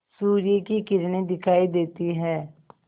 सूर्य की किरणें दिखाई देती हैं